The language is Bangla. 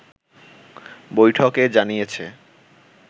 বৈঠকে জানিয়েছে